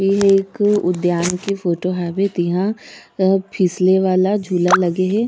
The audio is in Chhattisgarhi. ये एक उद्यान के फोटो हावे तिहा अ फिसले वाला झूला लगे हे।